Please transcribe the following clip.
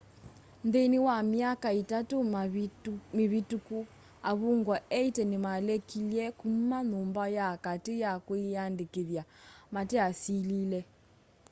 nthĩnĩ wa myaka itatũ mĩvĩtũkũ avũngwa 80 nĩmalekĩlye kũma nyũmba ya katĩ ya kwĩyandĩkĩthya mate asĩlĩle